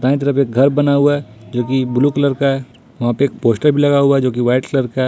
दाईं तरफ एक घर बना हुआ है जो कि ब्लू कलर का है वहां पे एक पोस्टर भी लगा हुआ है जो कि व्हाइट कलर का है।